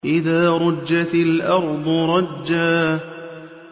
إِذَا رُجَّتِ الْأَرْضُ رَجًّا